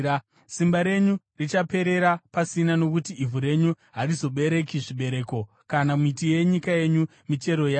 Simba renyu richaperera pasina nokuti ivhu renyu harizobereki zvibereko, kana miti yenyika yenyu, michero yayo.